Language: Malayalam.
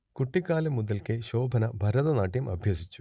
കുട്ടിക്കാലം മുതൽക്കേ ശോഭന ഭരതനാട്യം അഭ്യസിച്ചു